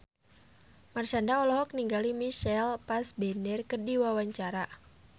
Marshanda olohok ningali Michael Fassbender keur diwawancara